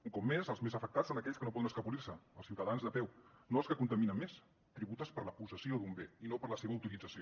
un cop més els més afectats són aquells que no poden escapolir se els ciutadans de peu no els que contaminen més tributes per la possessió d’un bé i no per la seva utilització